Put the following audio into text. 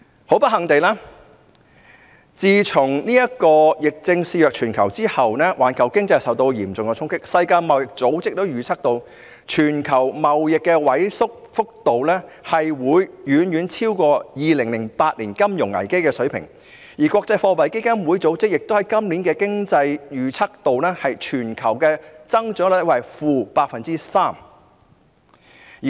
很不幸地，自從疫症肆虐全球之後，環球經濟受到嚴重衝擊，世界貿易組織也預測，全球貿易的萎縮速度會遠遠超過2008年金融危機的水平，而國際貨幣基金組織亦在今年的經濟預測中，預計全球增長率為 -3%。